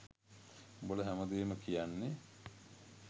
උඹල හැමදේම කියන්නෙ